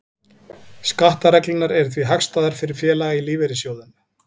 Skattareglurnar eru því hagstæðar fyrir félaga í lífeyrissjóðum.